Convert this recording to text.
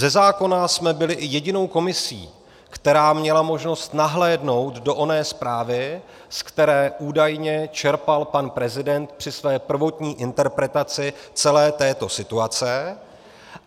Ze zákona jsme byli i jedinou komisí, která měla možnost nahlédnout do oné zprávy, z které údajně čerpal pan prezident při své prvotní interpretaci celé této situace.